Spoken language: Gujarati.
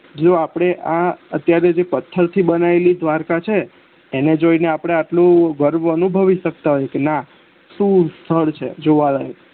જો આપડે આ અત્યારે જે પથ્થર થી બનાવેલી દ્વારકા છે એને જોઇને આપડે આટલું ગર્વ અનુભવતા હોય કે ન સુ સ્થળ છે જોવાલાયક